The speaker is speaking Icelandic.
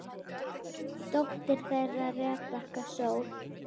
Dóttir þeirra Rebekka Sól.